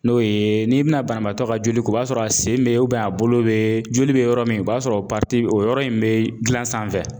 N'o ye n'i bɛna banabaatɔ ka joli ko o b'a sɔrɔ a sen bɛ yen a bolo bɛ joli bɛ yɔrɔ min na o b'a sɔrɔ o yɔrɔ in bɛ dilan sanfɛ.